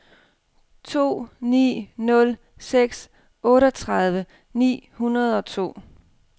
to ni nul seks otteogtredive ni hundrede og to